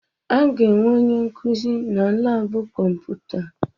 A ga-enwe onye nkuzi na laabụ kọmputa?